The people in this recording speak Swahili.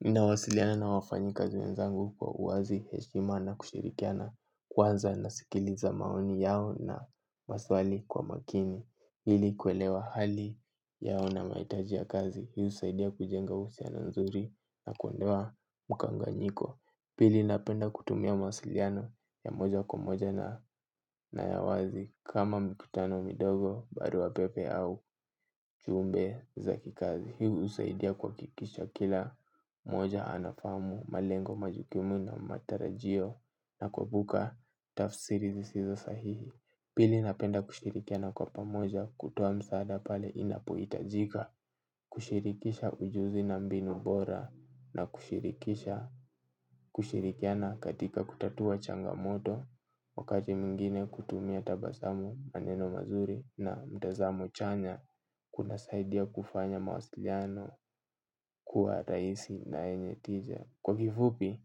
Nawasiliana na wafanyi kazi wenzangu kwa uwazi, heshima na kushirikiana kwanza nasikiliza maoni yao na maswali kwa makini. Ili kuelewa hali yao na mahitaji ya kazi. Hii husaidia kujenga uhusiano nzuri na kuondoa mkanganyiko. Pili napenda kutumia mawasiliano ya moja kwa moja na ya wazi kama mikutano midogo, barua pepe au ujumbe za kikazi. Hii husaidia kuhakikisha kila mmoja anafamu malengo majukumu na matarajio na kuepuka tafsiri zisizo sahihi. Pili napenda kushirikiana kwa pamoja kutoa msaada pale inapohitajika. Kushirikisha ujuzi na mbinu bora na kushirikisha kushirikiana katika kutatua changamoto. Wakati mwingine kutumia tabazamu maneno mazuri na mtazamo chanya. Kuna saidia kufanya mawasiliano kuwa rahisi na yenye tija. Kwa kifupi,